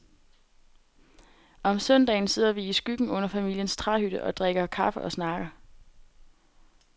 Om søndagen sidder vi i skyggen under familiens træhytte og drikker kaffe og snakker.